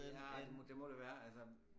Ja det må det være altså